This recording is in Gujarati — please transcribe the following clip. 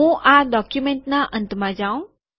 હું આ ડોક્યુમેન્ટના અંતમાં જઉં